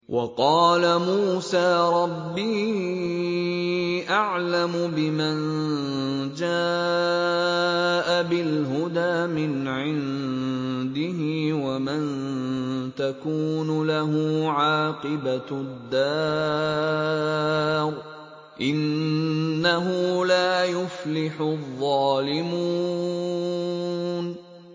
وَقَالَ مُوسَىٰ رَبِّي أَعْلَمُ بِمَن جَاءَ بِالْهُدَىٰ مِنْ عِندِهِ وَمَن تَكُونُ لَهُ عَاقِبَةُ الدَّارِ ۖ إِنَّهُ لَا يُفْلِحُ الظَّالِمُونَ